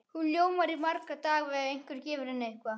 Hún ljómar í marga daga ef einhver gefur henni eitthvað.